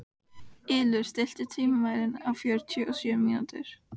Ylur, stilltu tímamælinn á fjörutíu og sjö mínútur.